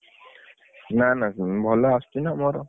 ନା ନା ଭଲ ଆସୁଚି ନା ମୋର।